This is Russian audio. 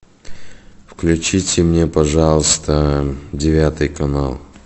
включите мне пожалуйста девятый канал